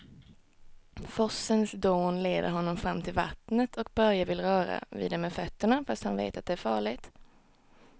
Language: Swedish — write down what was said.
Forsens dån leder honom fram till vattnet och Börje vill röra vid det med fötterna, fast han vet att det är farligt.